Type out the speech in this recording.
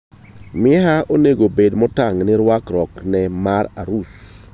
Miaha onego obed motang' gi rwakruokne mar arus.